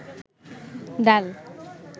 ডাল